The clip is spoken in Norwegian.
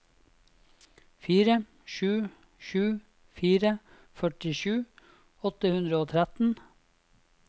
fire sju sju fire førtisju åtte hundre og tretten